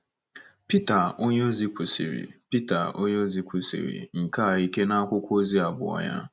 Pita onyeozi kwusiri Pita onyeozi kwusiri nke a ike n’akwụkwọ ozi abụọ ya.